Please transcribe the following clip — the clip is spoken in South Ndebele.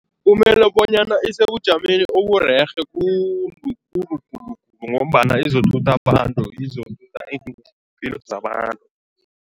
Kumele bonyana isebujameni oburerhe khulu khulu khulu ngombana izothutha abantu iimphilo zabantu.